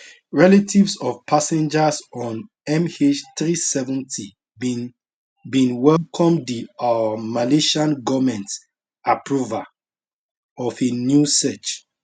relatives of passengers on mh370 bin bin welcome di um malaysian goment approval of a new search